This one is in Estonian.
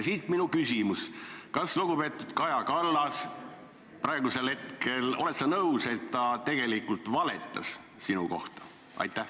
" Siit minu küsimus: kas lugupeetud Kaja Kallas, oled sa praegu minuga nõus, tegelikult valetas sinu kohta?